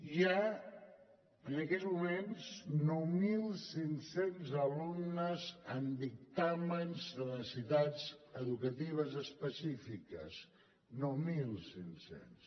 hi ha en aquests moments nou mil cinc cents alumnes amb dictàmens de necessitats educatives específiques nou mil cinc cents